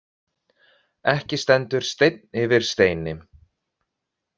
Ekki stendur steinn yfir steini